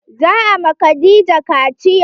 Za a ma Khadijah kaciya.